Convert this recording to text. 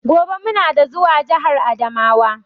Gobe muna da zuwa jahar adamawa.